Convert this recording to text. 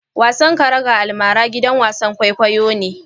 Wasan karaga almara gidan wasan kwaikwayo ne.